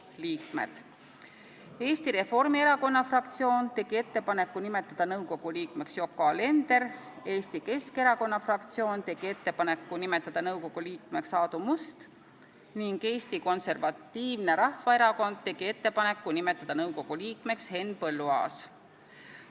Eesti Reformierakonna fraktsioon tegi ettepaneku nimetada nõukogu liikmeks Yoko Alender, Eesti Keskerakonna fraktsioon tegi ettepaneku nimetada nõukogu liikmeks Aadu Must ning Eesti Konservatiivne Rahvaerakond tegi ettepaneku nimetada nõukogu liikmeks Henn Põlluaas.